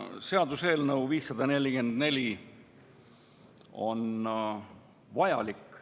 Seaduseelnõu 544 on vajalik.